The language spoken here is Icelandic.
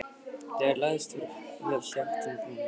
Þegar hann lagðist fyrir hélt ég áfram í áttina að brúninni.